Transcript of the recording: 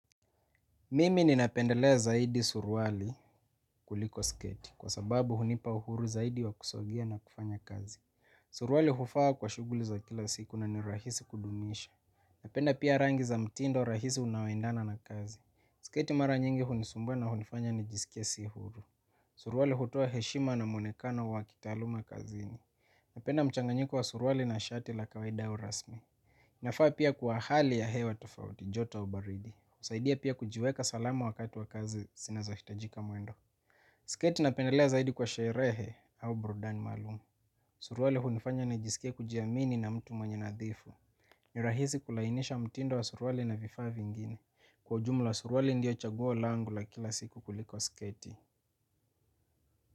Mimi ninapendelea zaidi suruali kuliko sketi kwa sababu hunipa uhuru zaidi wa kusogea na kufanya kazi. Suruali hufaa kwa shughuli za kila siku na ni rahisi kudumisha. Napenda pia rangi za mtindo rahisi unaoendana na kazi. Sketi mara nyingi hunisumbua na hunifanya nijisikia si huru. Suruali hutoa heshima na mwonekano wa kitaaluma kazini. Napenda mchanganyiko wa suruali na shati la kawaida au rasmi. Nafaa pia kuwa hali ya hewa tafauti, jota au baridi. Husaidia pia kujiweka salama wakati wa kazi zinazohitaji mwendo. Sketi napendelea zaidi kwa sherehe au burudani maalumu. Suruali hunifanya nijisikia kujiamini na mtu mwenye unadhifu. Ni rahisi kulinganisha mtindo wa suruali na vifaa vingine. Kwa ujumla, suruali ndiyo chaguo langu la kila siku kuliko sketi.